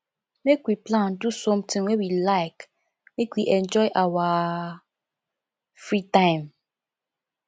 make we plan do sometin wey we like make we enjoy our free time